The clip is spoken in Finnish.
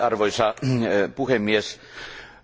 Arvoisa puhemies,